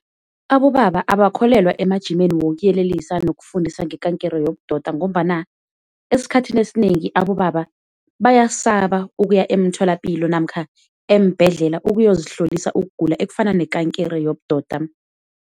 Abobaba abakholelwa emajimeni wokuyelelisa nokufundisa ngekankere yobudoda, ngombana esikhathini esinengi abobaba bayasaba ukuya emtholapilo namkha eembhedlela ukuyozihlolisa ukugula ekufana nekankere yobudoda.